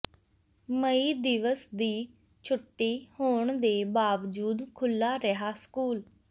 ਮਈ ਦਿਵਸ ਦੀ ਛੁੱਟੀ ਹੋਣ ਦੇ ਬਾਵਜੂਦ ਖੁੱਲ੍ਹਾ ਰਿਹਾ ਸਕੂਲ